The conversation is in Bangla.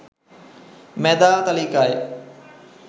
মেধা তালিকায়